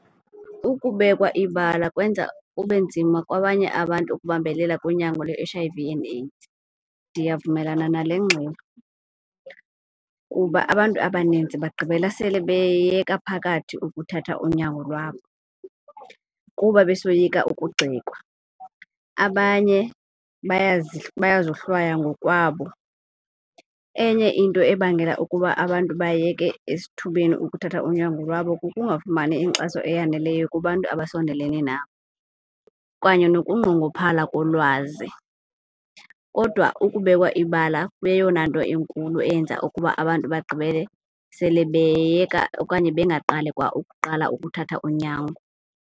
Ukubekwa ibala kwenza kube nzima kwabanye abantu ukubambelela kunyango lwe-H_I_V and AIDS, Ndiyavumelana nale ngxelo kuba abantu abaninzi bagqibela sele beyeka phakathi ukuthatha unyango lwabo kuba besoyika ukugxekwa, abanye bayazohlwaywa ngokwabo. Enye into ebangela ukuba abantu bayeke esithubeni ukuthatha unyango lwabo kukungafumani inkxaso eyaneleyo kubantu abasondelelene nabo kanye nokunqongophala kolwazi. Kodwa ukubekwa ibala kuyeyona nto inkulu eyenza okuba abantu bagqibele sele beyeka okanye bengaqali kwa ukuqala ukuthatha unyango.